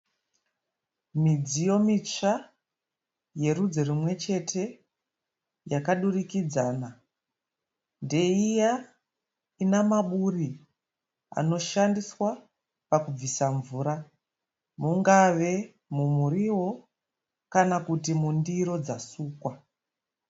Midziyo mitsva yerudzi rumwe chete yakadurikidzana ndeiya ine maburi anoshandiswa kubvisa mvura mungave mumuriwo kana kuti mundiro dzasukwa.